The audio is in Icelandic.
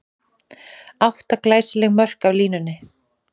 Átta glæsileg mörk af línunni!